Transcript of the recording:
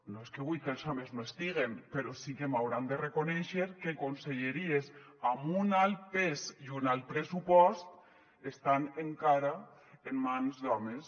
no és que vullga que els homes no estiguen però sí que m’hauran de reconèixer que conselleries amb un alt pes i un alt pressupost estan encara en mans d’homes